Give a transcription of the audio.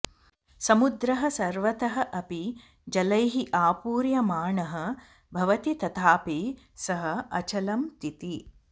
समुद्रः सर्वतः अपि जलैः आपूर्यमाणः भवति तथापि सः अचलं तिति